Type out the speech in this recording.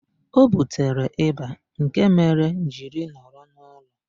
Ọ butere ịba nke mere jiri nọrọ n'ulo